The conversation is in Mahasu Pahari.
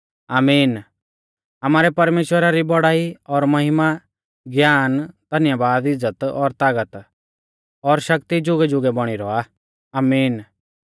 आमीन आमारै परमेश्‍वरा री बौड़ाई और महिमा ज्ञान धन्यबाद इज़्ज़त और तागत और शक्ति जुगैजुगै बौणी रौआ आमीन